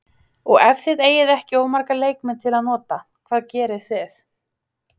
Og ef þið eigið ekki of marga leikmenn til að nota, hvað gerið þið?